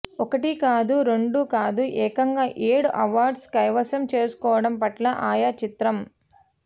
ఒకటి కాదు రెండు కాదు ఏకంగా ఏడూ అవార్డ్స్ కైవసం చేసుకోవడం పట్ల ఆయా చిత్ర